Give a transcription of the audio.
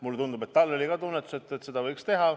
Mulle tundub, et tal oli ka tunnetus, et seda võiks teha.